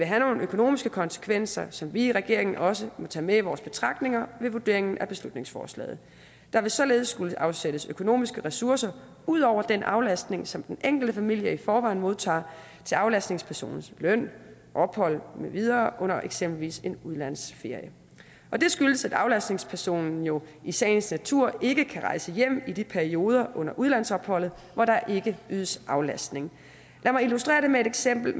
have nogle økonomiske konsekvenser som vi i regeringen også må tage med i vores betragtninger ved vurderingen af beslutningsforslaget der vil således skulle afsættes økonomiske ressourcer ud over den aflastning som den enkelte familie i forvejen modtager til aflastningspersonens løn ophold med videre under eksempelvis en udlandsferie det skyldes at aflastningspersonen jo i sagens natur ikke kan rejse hjem i de perioder under udlandsopholdet hvor der ikke ydes aflastning lad mig illustrere det med et eksempel